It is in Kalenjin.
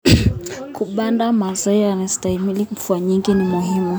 Kupanda mazao yanayostahimili mvua nyingi ni muhimu.